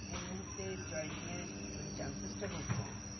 এই মুহূর্তে joining এর মানে chances টা খুব কম।